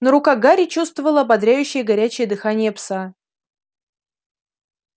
но рука гарри чувствовала ободряющее горячее дыхание пса